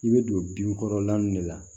I bɛ don dimi kɔrɔlan min de la